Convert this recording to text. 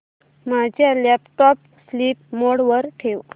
माझा laptop sleep mode वर ठेव